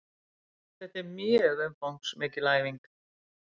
Þetta er mjög umfangsmikil æfing